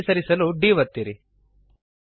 ಬಲಕ್ಕೆ ಸರಿಸಲು D ಒತ್ತಿರಿ